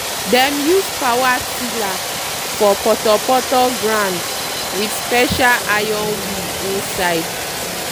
dem use power tiller for putoputo ground with special iron wheel inside.